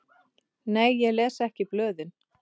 Nei ég les ekki blöðin.